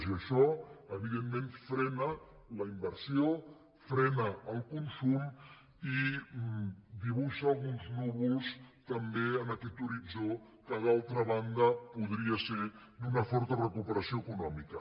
i ai·xò evidentment frena la inversió frena el consum i di·buixa alguns núvols també en aquest horitzó que d’altra banda podria ser d’una forta recuperació econòmica